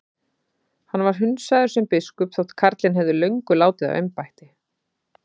Hann var hundsaður sem biskup þótt karlinn hefði löngu látið af embætti.